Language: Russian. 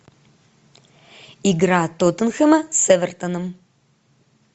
игра тоттенхэма с эвертоном